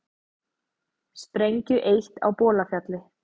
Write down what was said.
Sprengju eytt á Bolafjalli